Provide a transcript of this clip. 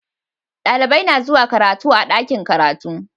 Dalibai na zuwa karatu a'dakin karatu.